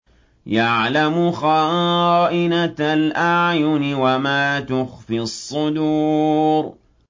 يَعْلَمُ خَائِنَةَ الْأَعْيُنِ وَمَا تُخْفِي الصُّدُورُ